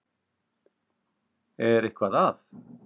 Er eitthvað að?